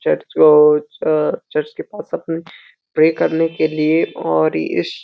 church और चअ church के पास अपनी प्रे करने के लिए और इस --